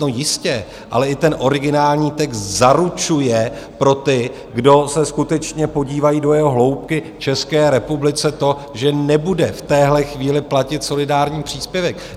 No jistě, ale i ten originální text zaručuje pro ty, kdo se skutečně podívají do jeho hloubky, České republice to, že nebude v téhle chvíli platit solidární příspěvek.